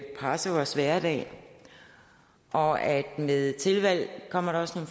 presse vores hverdag og at med tilvalg kommer der også